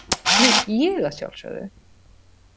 Nú, ég að sjálfsögðu!